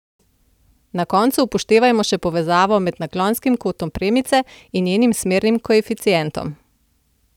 Na koncu upoštevajmo še povezavo med naklonskim kotom premice in njenim smernim koeficientom.